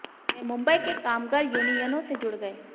वे मुंबई के कामगर यूनियनों से जुड़ गए